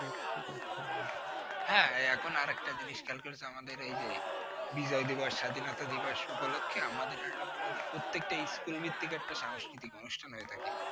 হ্যাঁ এখন আরেকটা জিনিস খেয়াল করিস আমাদের এই যে বিজয় দিবস স্বাধিনতা দিবস উপলক্ষে আমাদের আলাদা প্রত্যেকটা ইস্কুল ভিত্তিক একটা সাংস্কৃতিক অনুষ্ঠান হয়ে থাকে।